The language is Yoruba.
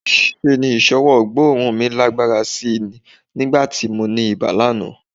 Ṣe ni ìṣọwọ́ gbóòórùn mi lágbára sí í nígbà tí mo ní ibà lánàá